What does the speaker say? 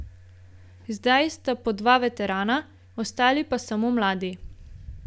Zdaj sta po dva veterana, ostali pa samo mladi.